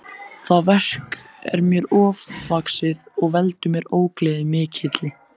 Það verk er mér ofvaxið og veldur mér ógleði mikilli.